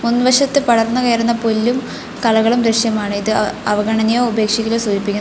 മുൻവശത്ത് പടർന്നു കയറുന്ന പുല്ലും കളകളും ദൃശ്യമാണ് ഇത് അവഗണനയോ ഉപേക്ഷിക്കലോ സൂചിപ്പിക്കുന്നു.